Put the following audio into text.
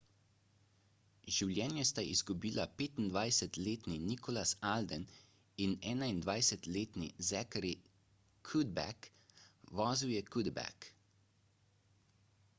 življenje sta izgubila 25-letni nicholas alden in 21-letni zachary cuddeback vozil je cuddeback